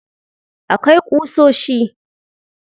Akwai ƙusoshi. There are nails.